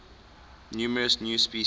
numerous new species